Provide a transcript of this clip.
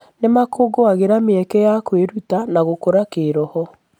Nĩ makũngũagĩra mĩeke ya kwĩruta na gũkũra kĩĩroho.